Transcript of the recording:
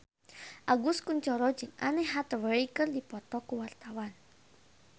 Agus Kuncoro jeung Anne Hathaway keur dipoto ku wartawan